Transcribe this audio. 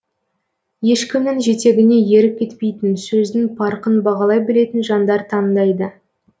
ешкімнің жетегіне еріп кетпейтін сөздің парқын бағалай білетін жандар таңдайды